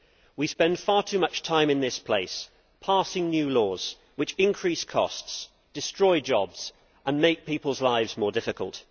We spend far too much time in this place passing new laws which increase costs, destroy jobs and make people's lives more difficult.